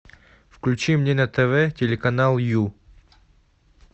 включи мне на тв телеканал ю